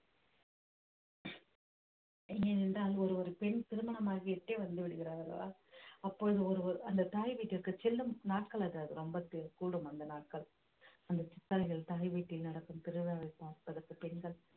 ஏனென்றால் ஒரு ஒரு பெண் திருமணமாகி விட்டே வந்து விடுகிறாள் அல்லவா அப்பொழுது ஒருவர் அந்த தாய் வீட்டிற்கு செல்லும் நாட்கள் அதாவது ரொம்ப தி~ கூடும் அந்த நாட்கள் அந்த சித்தரையில் தாய்வீட்டில் நடக்கும் திருவிழாவை பார்ப்ப பெண்கள்